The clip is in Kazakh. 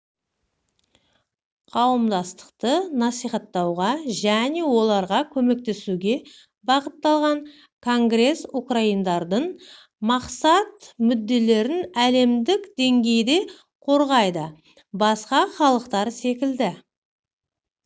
қауымдастықты насихаттауға және оларға көмектесуге бағытталған конгрес украиндардың мақсат-мүдделерін әлемдік деңгейде қорғайды басқа халықтар секілді